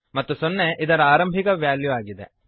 ಮತ್ತು ಸೊನ್ನೆ ಇದರ ಆರಂಭಿಕ ವ್ಯಾಲ್ಯು ಆಗಿದೆ